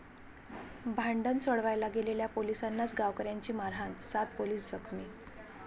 भांडण सोडवायला गेलेल्या पोलिसांनाच गावकऱ्यांची मारहाण, सात पोलीस जखमी